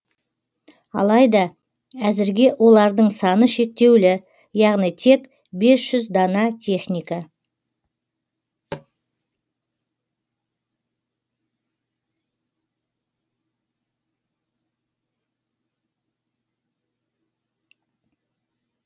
алайда әзірге олардың саны шектеулі яғни тек бес жүз дана техника